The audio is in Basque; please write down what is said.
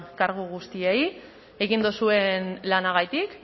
kargu guztiei egin duzuen lanagatik